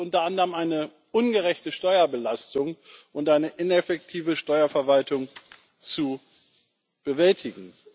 Hier gilt es unter anderem, eine ungerechte Steuerbelastung und eine ineffektive Steuerverwaltung zu bewältigen.